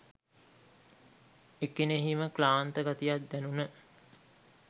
එකෙණෙහිම ක්ලාන්ත ගතියක් දැනුන